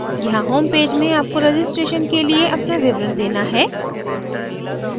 यहाँ homepage में आपको registration के लिए अपना विवरण देना है